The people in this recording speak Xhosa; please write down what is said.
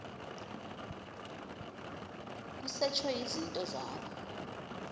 kusetshwe izinto zakho